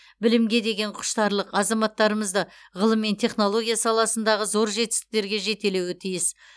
білімге деген құштарлық азаматтарымызды ғылым мен технология саласындағы зор жетістіктерге жетелеуі тиіс